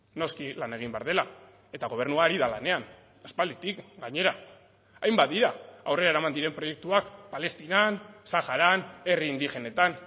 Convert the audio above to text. noski lan egin behar dela eta gobernua ari da lanean aspalditik gainera hainbat dira aurrera eraman diren proiektuak palestinan saharan herri indigenetan